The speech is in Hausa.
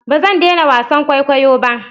Ba zan daina wasan kwaikwayo ba.